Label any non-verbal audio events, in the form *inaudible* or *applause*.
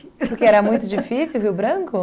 *laughs* Porque era muito difícil o Rio Branco?